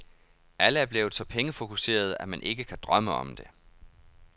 Alle er blevet så pengefokuserede, at man ikke kan drømme om det.